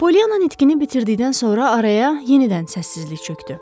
Polyana nitqini bitirdikdən sonra araya yenidən səssizlik çökdü.